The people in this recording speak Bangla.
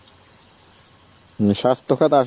স্বাস্থ্য খাত আসলে,